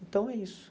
Então, é isso.